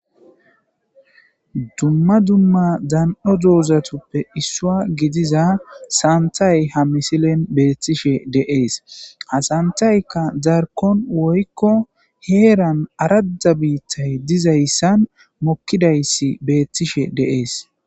dumma dumma dan7o doozatuppe issua gidiza saantay ha misilen beettishe deees asantaykka darkon woykko heeran arada biittay dizayssan mokkidayssi beettishe deees